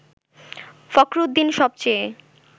ফখরুদ্দীন সব চেয়ে